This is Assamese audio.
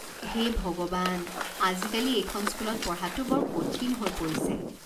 হে ভগৱান, আজিকালি এইখন স্কুলত পঢ়াটো বৰ কঠিন হৈ পৰিছে।